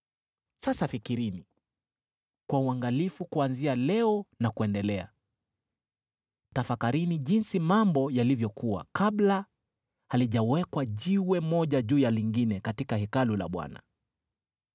“ ‘Sasa fikirini kwa uangalifu kuanzia leo na kuendelea: tafakarini jinsi mambo yalivyokuwa kabla halijawekwa jiwe moja juu ya lingine katika Hekalu la Bwana .